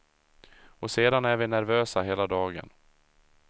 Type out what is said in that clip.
Och sedan är vi nervösa hela dagen.